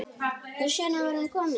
Þess vegna var hún komin.